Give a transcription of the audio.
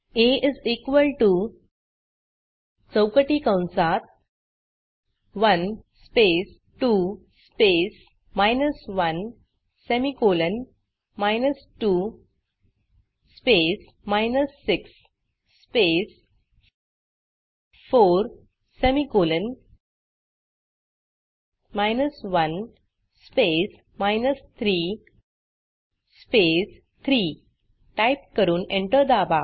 आ चौकटी कंसात 1 space 2 space minus 1 semicolon 2 space 6 space 4 semicolon 1 space 3 space 3 type करून enter दाबा